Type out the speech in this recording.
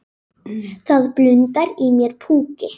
Það blundar í mér púki.